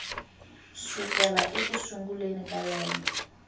sukela eku sunguleni ka lembe